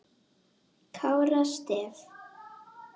Kára Stef?